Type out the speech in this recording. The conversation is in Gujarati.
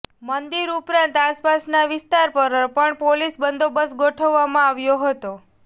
મંદિર ઉપરાંત આસપાસના વિસ્તાર પર પણ પોલીસ બંદોબસ્ત ગોઠવવામાં આવ્યો હતો